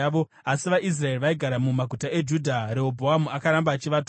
Asi vaIsraeri vaigara mumaguta eJudha, Rehobhoamu akaramba achivatonga.